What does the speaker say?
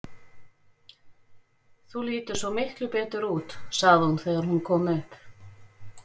Þú lítur svo miklu betur út, sagði hún þegar hún kom upp.